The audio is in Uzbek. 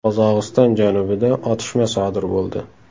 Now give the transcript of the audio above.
Qozog‘iston janubida otishma sodir bo‘ldi.